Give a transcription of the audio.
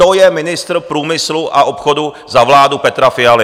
To je ministr průmyslu a obchodu za vládu Petra Fialy!